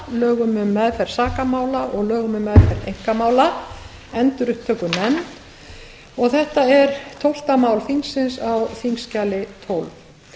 lögum um meðferð sakamála og lögum um meðferð einkamála endurupptökunefnd og þetta er tólfti mál þingsins á þingskjali tólf